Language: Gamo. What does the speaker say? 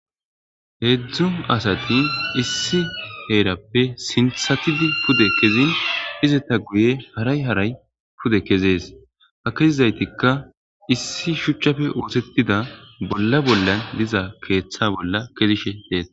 Heedzdzun asati issi heerappe sinthatidi pude kezin izeta guye haray haray pude kezees ha kezizaytikka issi shuchchafe oosettida bolla bollan diza keeththa bolla kezishe deetees